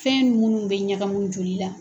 Fɛn munnu bɛ ɲagamu joli la.